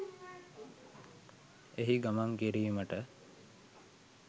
එහි ගමන් කිරීමට